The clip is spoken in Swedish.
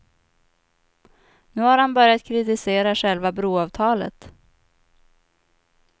Nu har han börjat kritisera själva broavtalet.